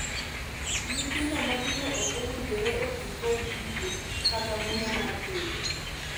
Nyithindo matindo ok owinjore otii kod jiko kata muya mar tedo.